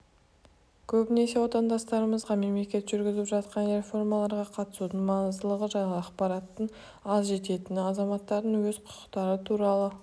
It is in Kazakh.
көбінесе отандастарымызға мемлекет жүргізіп жатқан реформаларға қатысудың маңыздылығы жайлы ақпараттың аз жететіні азаматтардың өз құқықтары туралы